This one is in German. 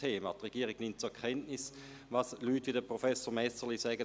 Die Regierung nimmt zur Kenntnis, was Leute wie Professor Messerli sagen.